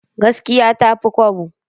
Gaskiya ta fi kwabo.